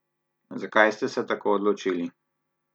Zakaj ste se tako odločili?